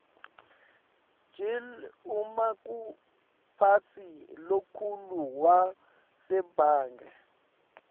gill umaqumphatsi lomkhulu wasebange